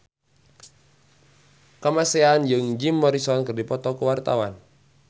Kamasean jeung Jim Morrison keur dipoto ku wartawan